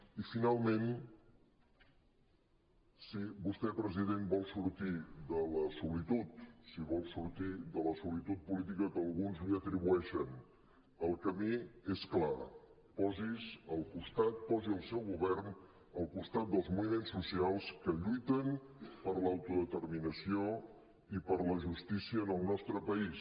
i finalment si vostè president vol sortir de la solitud si vol sortir de la solitud política que alguns li atribueixen el camí és clar posi el seu govern al costat dels moviments socials que lluiten per l’autodeterminació i per la justícia en el nostre país